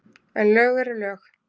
En lög eru lög.